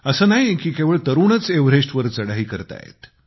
असे नाही की केवळ तरुणच एव्हरेस्टवर चढाई करत आहेत